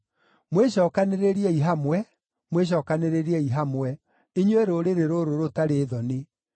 Mwĩcookanĩrĩriei hamwe, mwĩcookanĩrĩriei hamwe inyuĩ rũrĩrĩ rũrũ rũtarĩ thoni.